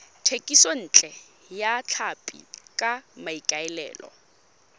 thekisontle ya tlhapi ka maikaelelo